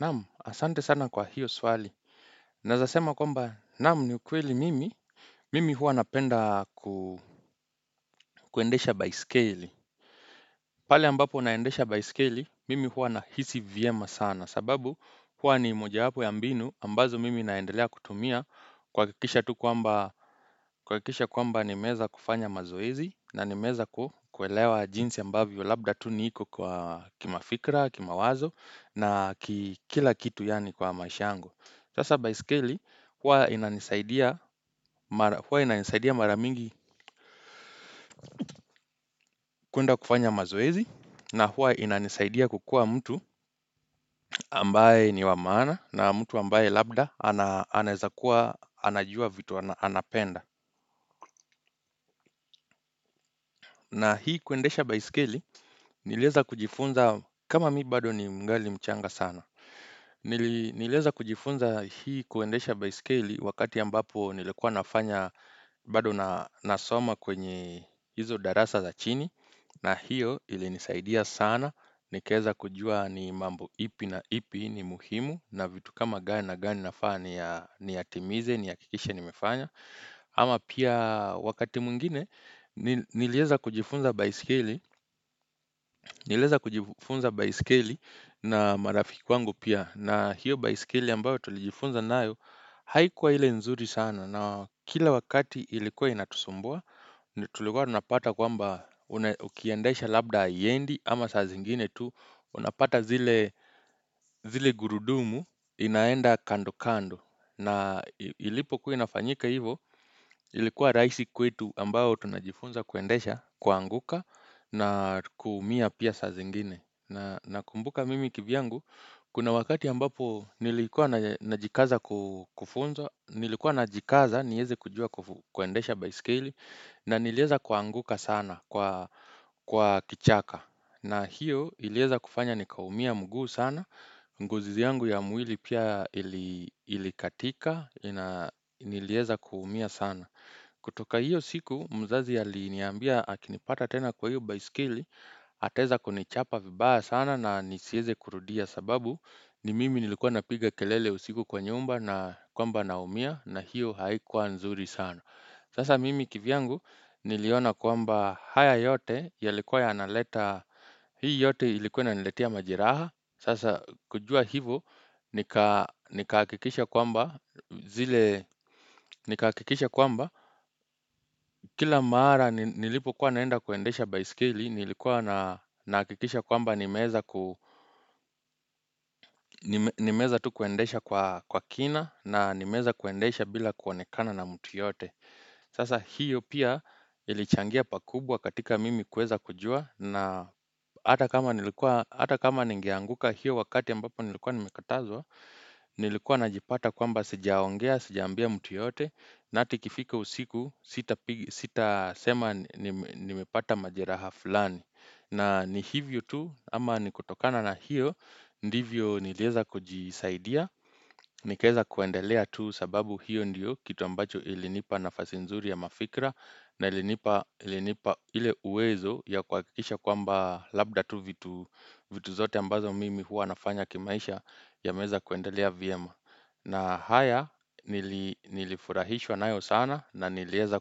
Naam, asante sana kwa hiyo swali. Naweza sema kwamba, naam ni ukweli mimi, mimi huwa napenda kuendesha bisikeli. Pale ambapo naendesha bisikeli, mimi huwa na hisi vyema sana. Sababu, huwa ni mojawapo ya mbinu ambazo mimi naendelea kutumia. Kuhakikisha tu kwamba, kuhakikisha kwamba nimeweza kufanya mazoezi na nimeweza kuelewa jinsi ambavyo labda tu ni niko kwa kimafikra, kimawazo, na kila kitu yani kwa maisha yangu. Sasa baisikeli, hua inanisaidia mara mingi kwenda kufanya mazoezi na hua inanisaidia kukua mtu ambaye ni wa maana na mtu ambaye labda anaweza kua anajua vitu anapenda. Na hii kuendesha baisikeli niliweeza kujifunza kama mimi bado ni ngali mchanga sana. Niliweza kujifunza hii kuendesha baisikeli wakati ambapo nilikuwa nafanya bado nasoma kwenye hizo darasa za chini. Na hiyo ilinisaidia sana, nikaweza kujua ni mambo ipi na ipi ni muhimu na vitu kama gani na gani nafaa niyatimize, nihakikishe nimefanya Ama pia wakati mungine niliweza kujifunza baiskeli na marafiki wangu pia. Na hio baiskeli ambayo tulijifunza nayo haikuwa ile nzuri sana na kila wakati ilikuwa inatusumbua, tulikuwa tunapata kwamba ukiendesha labda haiendi ama saa zingine tu unapata zile gurudumu inaenda kando kando. Na ilipokua inafanyika hivo, ilikuwa rahisi kwetu ambao tunajifunza kuendesha, kuanguka na kuumia pia saa zingine. Nakumbuka mimi kivyangu, kuna wakati ambapo nilikua najikaza kufunzwa, nilikua najikaza, niweze kujua kuendesha baisikeli, na niliweza kuanguka sana kwa kichaka. Na hiyo iliweza kufanya nikaumia mguu sana, ngozi yangu ya mwili pia ilikatika na niliweza kuumia sana. Kutoka hiyo siku mzazi aliiniambia akinipata tena kwa hiyo baisikeli ataweza kunichapa vibaya sana na nisiweze kurudia sababu ni mimi nilikuwa napiga kelele usiku kwa nyumba na kwamba naumia na hiyo haikuwa nzuri sana Sasa mimi kivyangu niliona kwamba haya yote yalikuwa yanaleta Hii yote ilikuwa inaniletia majeraha. Sasa kujua hivo nikahakikisha kwamba zile, nikahakikisha kwamba kila mara nilipokua naenda kuendesha baiskeli nilikuwa nahakikisha kwamba nimeweza tu kuendesha kwa kina na nimeweza kuendesha bila kuonekana na mtu yoyote. Sasa hiyo pia ilichangia pakubwa katika mimi kuweza kujua na hata kama nilikuwa hata kama ningeanguka hiyo wakati ambapo nilikuwa nimekatazwa Nilikuwa najipata kwamba sijaongea sijaambia mtu yoyote na hata ikifika usiku sitasema nimepata majeraha fulani. Na ni hivyo tu ama nikutokana na hiyo, ndivyo niliweza kujisaidia, nikaweza kuendelea tu sababu hiyo ndio kitu ambacho ilinipa nafasi nzuri ya mafikra na ilinipa ile uwezo ya kuhakikiisha kwamba labda tu vitu zote ambazo mimi hua nafanya kimaisha yameweza kuendelea vyema. Na haya nilifurahishwa nayo sana na niliweza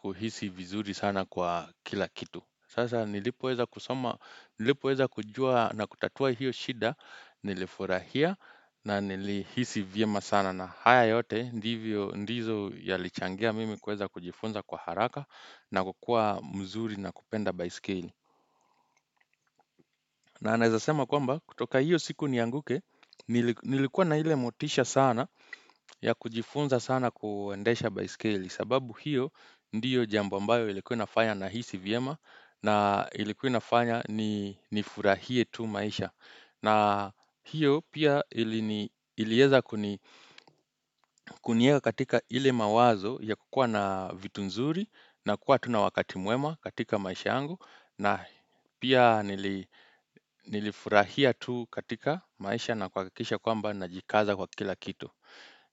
kuhisi vizuri sana kwa kila kitu. Sasa nilipoweza kujua na kutatua hiyo shida nilifurahia na nilihisi vyema sana. Na haya yote ndivyo ndizo yalichangia mimi kuweza kujifunza kwa haraka na kukua mzuri na kupenda baisikeli na naweza sema kwamba kutoka hiyo siku nianguke nilikuwa na ile motisha sana ya kujifunza sana kuandesha baisikeli sababu hio ndio jambo ambayo ilikuwa inafanya na hisi vyema na ilikuwai nafanya ni nifurahie tu maisha na hiyo pia iliweza kunieka katika ile mawazo ya kukua na vitu nzuri na kuwa tu na wakati mwema katika maisha yangu. Na pia nilifurahia tu katika maisha na kuhakikisha kwamba najikaza kwa kila kitu.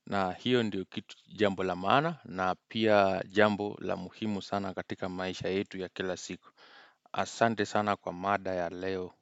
Na hiyo ndio kitu, jambo la maana na pia jambo la muhimu sana katika maisha yetu ya kila siku. Asante sana kwa mada ya leo.